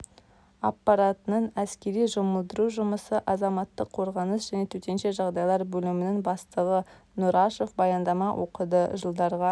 аппаратының әскери жұмылдыру жұмысы азаматтық қорғаныс және төтенше жағдайлар бөлімінің бастығы нұрашев баяндама оқыды жылдарға